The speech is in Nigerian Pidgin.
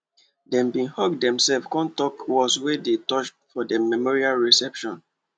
dem bin hug demselves con talk words wey dey touch for the memorial reception